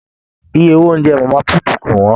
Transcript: Ìyè owó oúnjẹ mama put kò wọn.